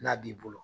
N'a b'i bolo